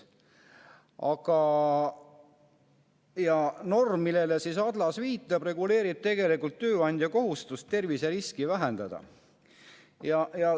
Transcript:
Aga norm, millele Adlas viitab, reguleerib tegelikult tööandja kohustust terviseriski vähendada.